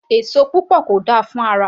Èso púpọ̀ kò dáa fún ara